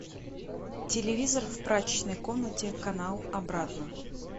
телевизор в прачечной комнате канал обратно